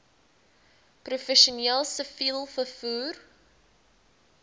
professioneel siviel vervoer